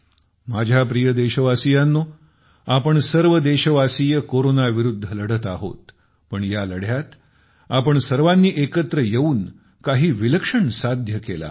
माझ्या प्रिय देशवासियांनो आपण सर्व देशवासीय कोरोनाविरूद्ध लढत आहोत पण या लढ्यात आपण सर्वानी एकत्र येऊन काही विलक्षण साध्य केले आहे